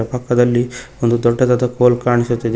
ಪಕ್ಕದಲ್ಲಿ ಒಂದು ದೊಡ್ಡದಾದ ಫೋಲ್ ಕಾಣಿಸುತ್ತಿದೆ.